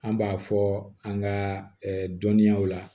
An b'a fɔ an ka dɔnniyaw la